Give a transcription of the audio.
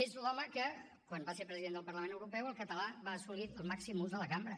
és l’home que quan va ser president del parlament europeu el català va assolir el màxim ús de la cambra